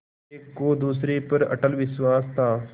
एक को दूसरे पर अटल विश्वास था